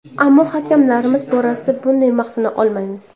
Ammo hakamlarimiz borasida bunday maqtana olmaymiz.